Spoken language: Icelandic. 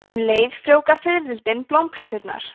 um leið frjóvga fiðrildin blómplönturnar